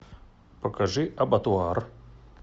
покажи абатуар